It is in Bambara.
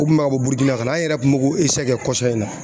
U kun bɛ ka bɔ Burukina ka na, an yɛrɛ kun b'o ko kɛ kɔsa in na.